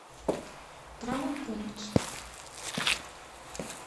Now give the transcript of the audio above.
травмпункт